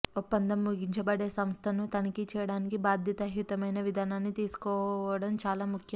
ఒప్పందం ముగించబడే సంస్థను తనిఖీ చేయడానికి బాధ్యతాయుతమైన విధానాన్ని తీసుకోవడం చాలా ముఖ్యం